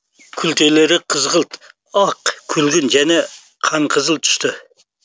күлтелері қызғылт ақ күлгін және қанқызыл түсті